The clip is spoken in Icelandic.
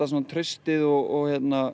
traustið og